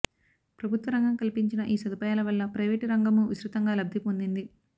ప్రభుత్వరంగం కల్పించిన ఈ సదుపాయాల వల్ల ప్రయివేటు రంగమూ విస్తృతంగా లబ్ధి పొందింది